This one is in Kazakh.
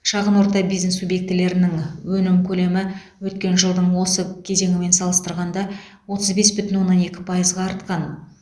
шағын орта бизнес субъектілерінің өнім көлемі өткен жылдың осы кезеңімен салыстырғанда отыз бес бүтін оннан екі пайызға артқан